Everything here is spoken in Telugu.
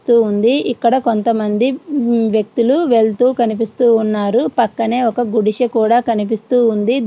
తూ ఉంది ఇక్కడ కొంతమంది మ్మ్ వ్యక్తులు వెళ్తూ కనిపిస్తున్నారు పక్కనే ఒక గుడిసె కూడా కనిపిస్తువుంది.